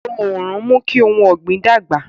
Òòrùn ń mú kí ohun ọ̀gbìn dàgbà